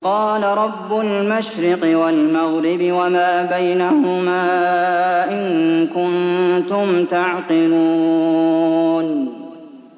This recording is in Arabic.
قَالَ رَبُّ الْمَشْرِقِ وَالْمَغْرِبِ وَمَا بَيْنَهُمَا ۖ إِن كُنتُمْ تَعْقِلُونَ